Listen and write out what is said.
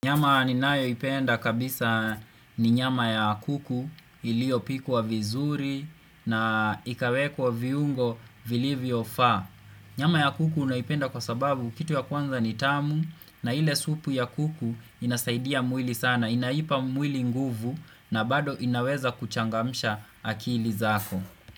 Nyama ninayoipenda kabisa ni nyama ya kuku iliopikwa vizuri na ikawekwa viungo vilivyofaa. Nyama ya kuku naipenda kwa sababu kitu ya kwanza ni tamu na ile supu ya kuku inasaidia mwili sana. Naipa mwili nguvu na bado inaweza kuchangamsha akili zako.